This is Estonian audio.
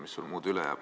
Mis sul muud üle jääb.